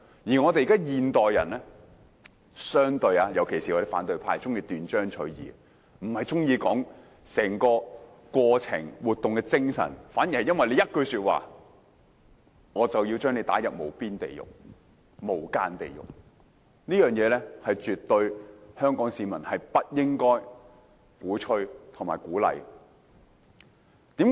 相對上，現代人特別是反對派卻喜歡斷章取義，不探求整個過程和活動的精神，反而會因為一句說話便要把人家推入無間地獄，這是香港市民所絕不應鼓吹和鼓勵。